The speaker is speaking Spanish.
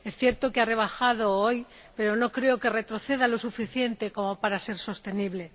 Es cierto que ha bajado hoy, pero no creo que retroceda lo suficiente como para ser sostenible.